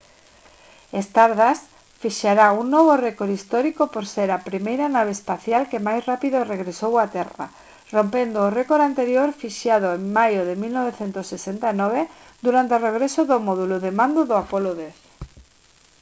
stardust fixará un novo récord histórico por ser a primeira nave espacial que máis rápido regresou á terra rompendo o récord anterior fixado en maio de 1969 durante o regreso do módulo de mando do apollo x